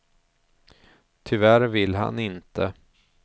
Tyvärr vill han inte.